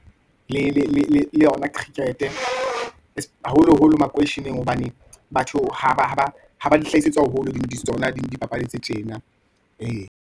Le yona cricket-e haholo-holo makoisheneng, hobane batho ha ba di hlahisetsa haholo, di tsona dipapadi tse tjena, ee.